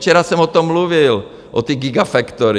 Včera jsem o tom mluvil, o té gigafactory.